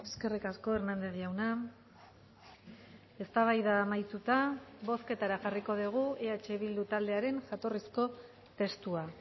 eskerrik asko hernández jauna eztabaida amaituta bozketara jarriko dugu eh bildu taldearen jatorrizko testua